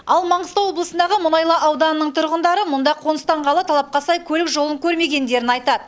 ал маңғыстау облысындағы мұнайлы ауданының тұрғындары мұнда қоныстанғалы талапқа сай көлік жолын көрмегендерін айтады